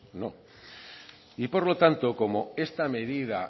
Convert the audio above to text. no y por lo tanto como esta medida